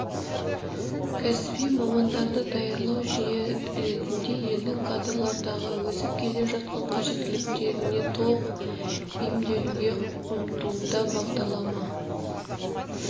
кәсіби мамандарды даярлау жүйесі ретінде елдің кадрлардағы өсіп келе жатқан қажеттіліктеріне толық бейімделуге ұмтылуда бағдарлама